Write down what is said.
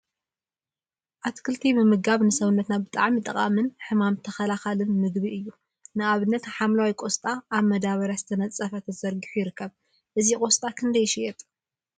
አትክልቲ አተክልቲ ምምጋብ ንሰውነትና ብጣዕሚ ጠቃሚን ሕማም ተከላከሊን ምግቢ እዩ፡፡ ንአብነት ሓምለዋይ ቆስጣ አብ መዳበርያ ዝተነፀፈ ተዘርጊሑ ይርከብ፡፡ እዚ ቆስጣ ክንደይ ይሽየጥ?